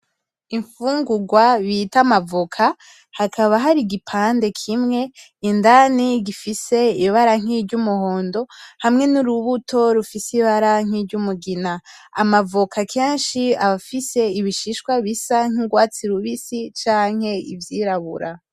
Imfungurwa bita amavoka, hakaba hari igipande kimwe indani gifise ibara nkiry'umuhondo, hamwe nurubuto rufise ibara nkiry'umugina. Amavoka kenshi aba afise ibishishwa bisa nk'urwatsi rubisi canke ivyirabura.